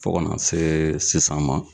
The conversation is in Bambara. Fo ka na see sisan ma